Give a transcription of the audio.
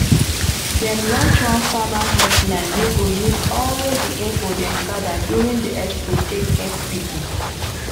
dem launch one farmer helpline wey go use all the info dem gather during the expo take help people.